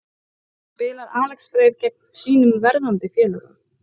Spilar Alex Freyr gegn sínum verðandi félögum?